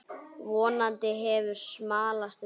Vonandi hefur smalast vel.